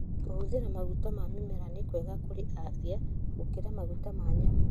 Kũhũthĩra maguta ma mĩmera nĩ kwega kũrĩ afiagũkĩra maguta ma nyamũ.